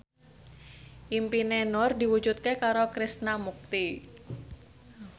impine Nur diwujudke karo Krishna Mukti